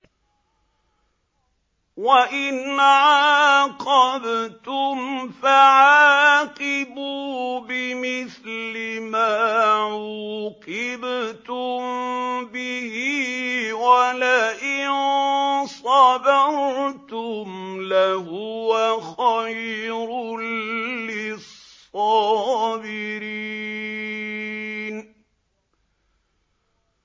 وَإِنْ عَاقَبْتُمْ فَعَاقِبُوا بِمِثْلِ مَا عُوقِبْتُم بِهِ ۖ وَلَئِن صَبَرْتُمْ لَهُوَ خَيْرٌ لِّلصَّابِرِينَ